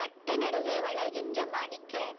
வட்ட நடுவே விளைகின்ற மாணிக்க